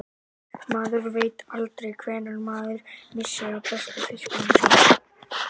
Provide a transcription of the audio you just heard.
Maður veit aldrei hvenær maður missir af bestu fiskunum í sjónum.